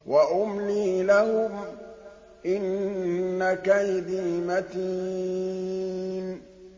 وَأُمْلِي لَهُمْ ۚ إِنَّ كَيْدِي مَتِينٌ